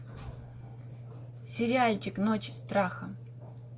сериальчик ночь страха